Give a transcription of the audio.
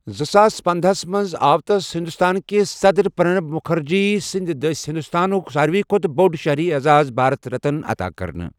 زٕساس پندہَس منٛز آو تس ہندوستان کِس صدر پر٘نب مٗکھرجیَ سنٛدۍ دٔسۍ ہندوستانك ساروی کھوتہٕ بو٘ڈ شہری اعزاز، بھارت رتن عتا كرنہٕ ۔